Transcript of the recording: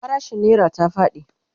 farashin naira ta faɗi